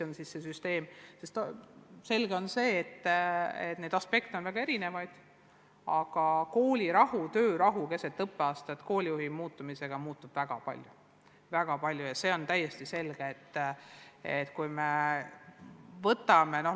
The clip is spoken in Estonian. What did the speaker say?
On selge, et neid aspekte on väga erinevaid, aga koolirahu ja töörahu seisukohalt muutub väga palju, kui keset õppeaastat koolijuht välja vahetatakse.